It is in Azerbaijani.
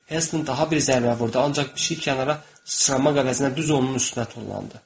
Heltton daha bir zərbə vurdu, ancaq pişik kənara sıçramaq əvəzinə düz onun üstünə tullandı.